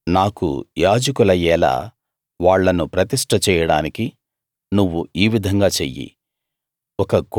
నాకు యాజకులయ్యేలా వాళ్ళను ప్రతిష్ట చేయడానికి నువ్వు ఈ విధంగా చెయ్యి